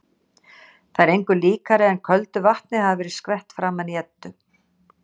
Það er engu líkara en köldu vatni hafi verið skvett framan í Eddu.